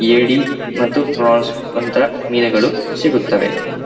ಏಡಿ ಮತ್ತು ಫ್ರಒನ್ಸ್ ಅಂತ ಮೀನುಗಳು ಸಿಗುತ್ತವೆ .